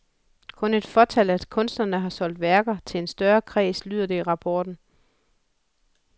Kun et fåtal af kunstnerne har solgt værker til en større kreds, lyder det i rapporten.